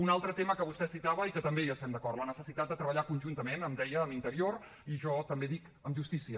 un altre tema que vostè citava i que també hi estem d’acord la necessitat de treballar conjuntament em deia amb interior i jo també dic amb justícia